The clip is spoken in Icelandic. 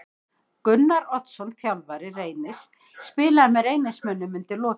Gunnar Oddsson þjálfari Reynis spilaði með Reynismönnum undir lokin.